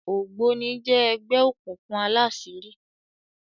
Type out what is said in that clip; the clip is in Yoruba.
ògbóni jé ẹgbẹ òkùnkùn àlàṣiri.